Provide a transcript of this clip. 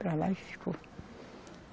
Para lá ele ficou.